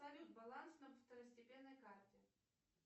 салют баланс на второстепенной карте